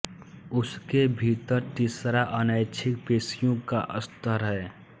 उसके भीतर तीसरा अनैच्छिक पेशियों का स्तर है